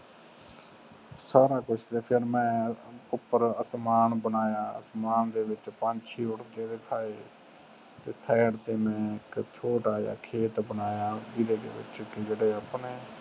ਸਾਰਾ ਕੁਸ਼ ਫੇਰ ਮੈਂ ਅਸਮਾਨ ਬਣਾਇਆ ਅਸਮਾਨ ਦੇ ਵਿਚ ਪੰਛੀ ਉਰਦੇ ਦਿਖਾਏ ਤੇ ਸੀਏਡ ਤੇ ਮੈਂ ਇਕ ਛੋਟਾ ਜਾ ਖੇਤ ਬਣਾਇਆ ਜਿੰਦੇ ਵਿਚ ਜਿਹੜੇ ਆਪਣੇ